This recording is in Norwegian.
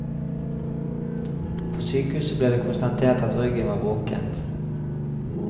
På sykehuset ble det konstatert at ryggen var brukket.